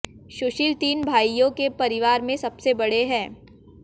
सुशील तीन भाइयों के परिवार में सबसे बड़े हैं